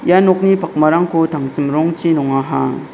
ia nokni pakmarangko tangsim rongchi nongaha.